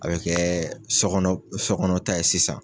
A bɛ kɛɛ sɔ kɔnɔ sɔ kɔnɔ ta ye sisan.